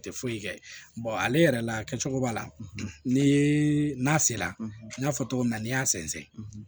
Tɛ foyi kɛ ale yɛrɛ la kɛcogo b'a la ni a sera n y'a fɔ cogo min na n'i y'a sɛnsɛn